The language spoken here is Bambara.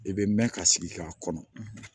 I bɛ mɛn ka sigi k'a kɔnɔ